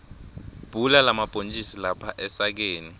bhula lamabhontjisi lapha esakeni